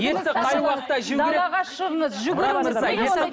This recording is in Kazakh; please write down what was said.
етті қай уақытта жеу керек шығыңыз жүгіріңіз